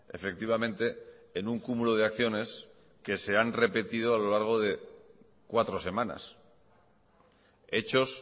efectivamente en un cúmulo de acciones que se han repetido a lo largo de cuatro semanas hechos